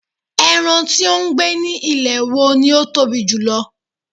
eran ti o gbe ni ilẹ̀ wo ni o Tobi jùlọ